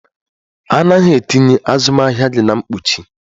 A naghị etinye azụmahịa gị na mkpuchi?